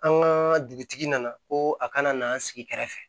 An ka dugutigi nana ko a kana na an sigi kɛrɛfɛ